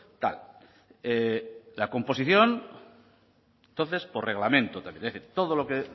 tal la composición entonces por reglamento también todo lo que